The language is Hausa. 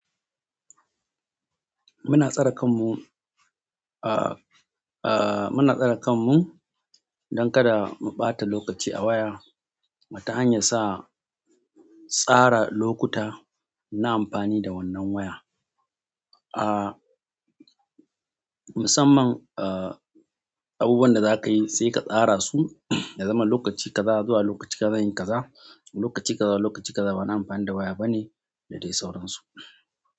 Muna tsare kanmu, ah, ah, muna tsare kanmu don kada mu ɓata lokaci a waya. Ta hanyar sa tsara lokuta na amfani da wannan waya. Ah, musamman, ah, abubuwan da za ka yi sai ka tsara su ya zama lokaci kaza zuwa lokaci kaza zan yi kaza. Lokaci kaza lokaci kaza ba na amfani da waya bane da dai sauransu.